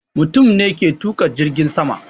Mutum ne ke tuƙa jirgin sama